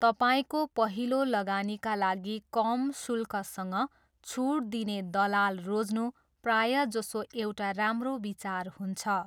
तपाईँको पहिलो लगानीका लागि कम शुल्कसँग छुट दिने दलाल रोज्नु प्रायजसो एउटा राम्रो विचार हुन्छ।